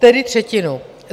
Tedy třetinu.